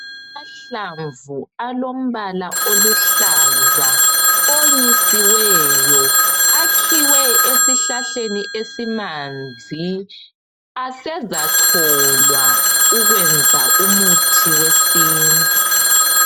Amahlamvu alombala oluhlaza onyisiweyo, akhiwe esihlahleni esimanzi. Asezacholwa ukwenza umuthi wesintu.